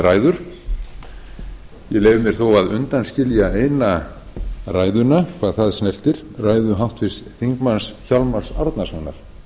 leyfi mér þó að undanskilja eina ræðuna hvað það snertir ræðu háttvirts þingmanns hjálmars árnasonar